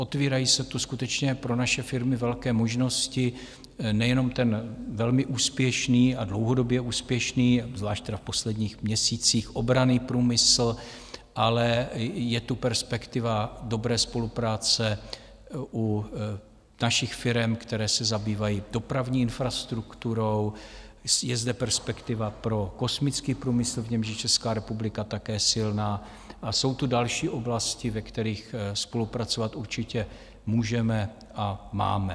Otvírají se tu skutečně pro naše firmy velké možnosti, nejenom ten velmi úspěšný a dlouhodobě úspěšný - zvlášť tedy v posledních měsících - obranný průmysl, ale je tu perspektiva dobré spolupráce u našich firem, které se zabývají dopravní infrastrukturou, je zde perspektiva pro kosmický průmysl, v němž je Česká republika také silná, a jsou tu další oblasti, ve kterých spolupracovat určitě můžeme a máme.